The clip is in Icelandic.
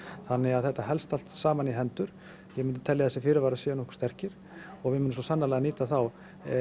þannig að þetta helst allt saman í hendur ég myndi telja að þessi fyrirvarar séu nokkuð sterkir og við munum svo sannarlega nýta þá